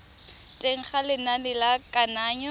teng ga lenane la kananyo